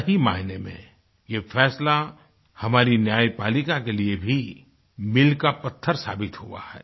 सही मायने में ये फैसला हमारी न्यायपालिका के लिए भी मील का पत्थर साबित हुआ है